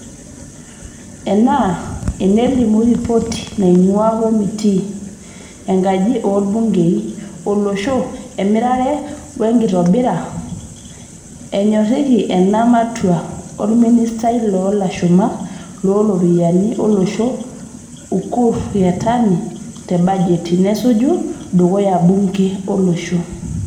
Enaa enelimu ripoti naingua komitii enkaji oolbungei olosho e mirare wenkitobira, enyoriki ena matua olministai loolashumak looropiyiani olosho Ukur Yatani te bajeti nasuju, tedukuya bungee olosho.